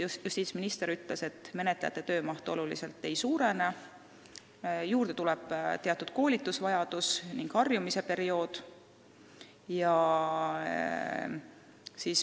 Justiitsminister ütles, et menetlejate töömaht oluliselt ei suurene, juurde tuleb teatud koolitusvajadus ja tekib harjumise periood.